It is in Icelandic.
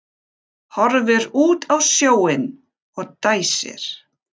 Horfir út á sjóinn og dæsir.